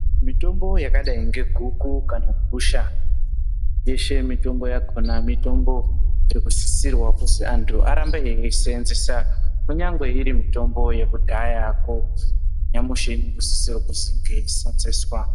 Mitombo yakadai neguku kana gusha yeshe mitombo yakona mitombo yekusisirwa kuti antu arambe eisenzesa kunyangwe iri mitombo yekudhayako nyamushi iri kusisire kunge yeisenzeswa.